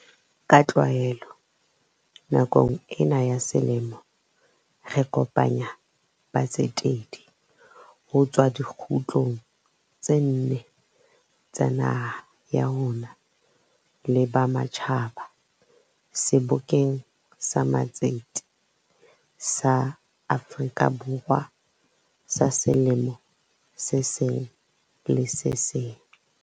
Ka tlwaelo, nakong ena ya selemo re kopanya batsetedi ho tswa dikgutlong tse nne tsa naha ya rona le ba ma tjhaba Sebokeng sa Matsete sa Afrika Borwa sa selemo se seng le se seng.